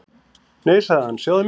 Nei sagði hann, sjáðu myndina.